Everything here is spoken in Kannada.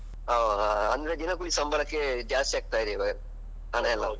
ಹ ಹ ಅಂದ್ರೆ ದಿನಕೂಲಿ ಸಂಬಳಕ್ಕೆ ಜಾಸ್ತಿ ಆಗ್ತಾ ಇದೆ ಇವಾಗ ಹಣಯೆಲ್ಲ .